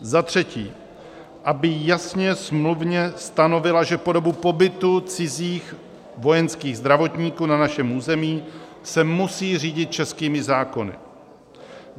za třetí, aby jasně smluvně stanovila, že po dobu pobytu cizích vojenských zdravotníků na našem území se musí řídit českými zákony;